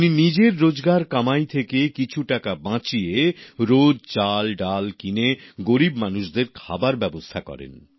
উনি নিজের রোজকার উপার্জন থেকে কিছু টাকা বাঁচিয়ে রোজ চালডাল কিনে গরীব মানুষদের খাবার ব্যাবস্থা করেন